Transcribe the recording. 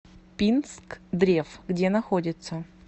пинскдрев где находится